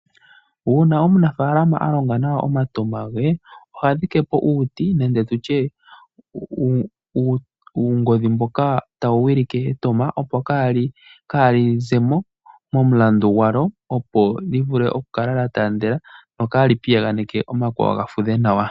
Uuna omunafaalama a longa nawa omatama ge oha dhike po uuti nenge tu tye uungodhi mboka tawu wilike etama, opo kaa li ze mo momulandu gwalyo, opo li vule okukala lya taandela, opo kaa li piyaganeke omakwawo ga fudhe nawa.